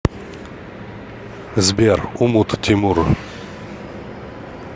сбер умут тимур